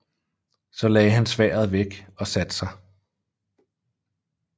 Så lagde han sværdet væk og satte sig